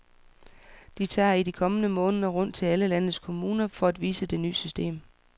De tager i de kommende måneder rundt til alle landets kommuner for at vise det nye system.